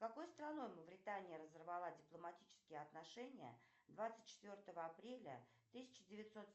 с какой страной мавритания разорвала дипломатические отношения двадцать четвертого апреля тысяча девятьсот